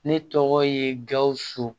Ne tɔgɔ ye gawusu